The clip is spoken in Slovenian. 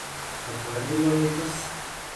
Kako je bilo letos?